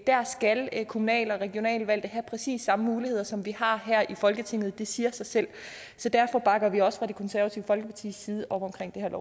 der skal kommunal og regionalvalgte have præcis samme muligheder som vi har her i folketinget det siger sig selv så derfor bakker vi også fra det konservative folkepartis side op om